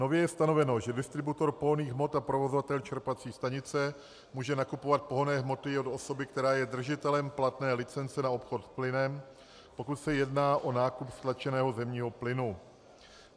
Nově je stanoveno, že distributor pohonných hmot a provozovatel čerpací stanice může nakupovat pohonné hmoty od osoby, která je držitelem platné licence na obchod s plynem, pokud se jedná o nákup stlačeného zemního plynu.